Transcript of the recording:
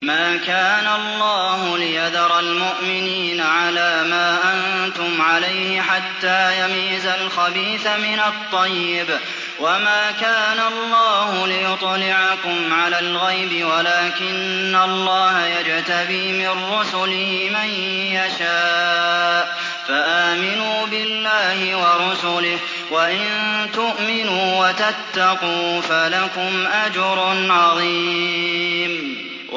مَّا كَانَ اللَّهُ لِيَذَرَ الْمُؤْمِنِينَ عَلَىٰ مَا أَنتُمْ عَلَيْهِ حَتَّىٰ يَمِيزَ الْخَبِيثَ مِنَ الطَّيِّبِ ۗ وَمَا كَانَ اللَّهُ لِيُطْلِعَكُمْ عَلَى الْغَيْبِ وَلَٰكِنَّ اللَّهَ يَجْتَبِي مِن رُّسُلِهِ مَن يَشَاءُ ۖ فَآمِنُوا بِاللَّهِ وَرُسُلِهِ ۚ وَإِن تُؤْمِنُوا وَتَتَّقُوا فَلَكُمْ أَجْرٌ عَظِيمٌ